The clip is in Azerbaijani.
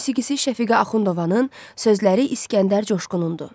Musiqisi Şəfiqə Axundovanın, sözləri İskəndər Coşqunundur.